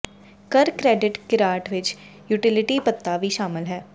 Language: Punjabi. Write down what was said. ਕਰ ਕ੍ਰੈਡਿਟ ਕਿਰਾਟ ਵਿਚ ਯੂਟਿਲਿਟੀ ਭੱਤਾ ਵੀ ਸ਼ਾਮਲ ਹੈ